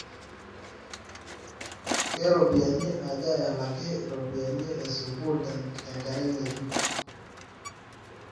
keropiyani aja elaki ropiyani e sukuul tenkerai ngejuk